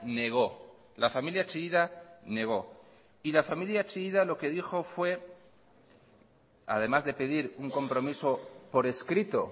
negó la familia chillida negó y la familia chillida lo que dijo fue además de pedir un compromiso por escrito